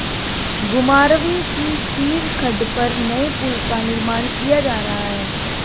घुमारवीं की सीर खड्ड पर नए पुल का निर्माण किया जा रहा है